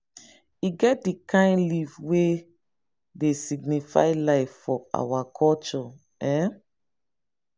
e get di kain leaf wey dey signify life for our culture. um